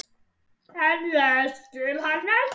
En ég skil hann ekki.